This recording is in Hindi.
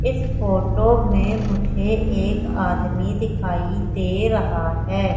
इस फोटो में मुझे एक आदमी दिखाई दे रहा है।